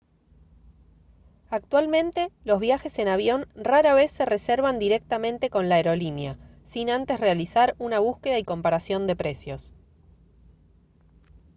actualmente los viajes en avión rara vez se reservan directamente con la aerolínea sin antes realizar una búsqueda y comparación de precios